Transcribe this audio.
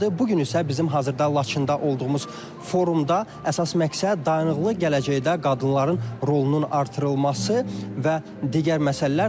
Bu gün isə bizim hazırda Laçında olduğumuz forumda əsas məqsəd dayanıqlı gələcəkdə qadınların rolunun artırılması və digər məsələlərdir.